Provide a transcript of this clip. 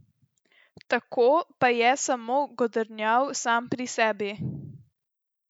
Tako pa je samo godrnjal sam pri sebi.